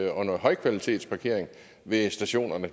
af høj kvalitet ved stationerne